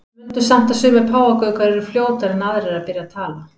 Mundu samt að sumir páfagaukar eru fljótari en aðrir að byrja að tala.